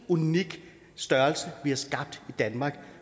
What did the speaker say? unik størrelse vi har skabt i danmark